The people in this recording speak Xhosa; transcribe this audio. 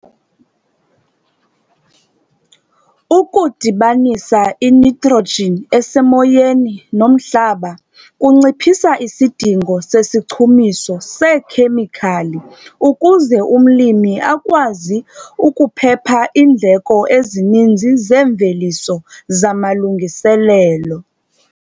Ukudibanisa initrogen esemoyeni nomhlaba kunciphisa isidingo sesichumiso seekhemikhali ukuze umlimi akwazi ukuphepha iindleko ezininzi zeemveliso zamalungiselelo.